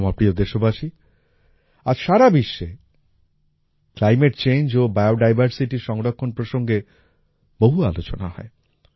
আমার প্রিয় দেশবাসী আজ সারা বিশ্বে ক্লাইমেট চেঞ্জ ও বায়োডাইভারসিটির সংরক্ষণ প্রসঙ্গে বহু আলোচনা হয়